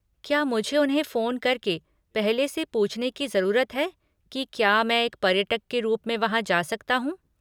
क्या मुझे उन्हें फ़ोन करके पहले से पूछने की ज़रूरत है कि क्या मैं एक पर्यटक के रूप में वहाँ जा सकता हूँ?